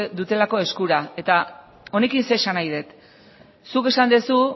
dutelako eskura eta honekin ze esan nahi dut zuk esan duzu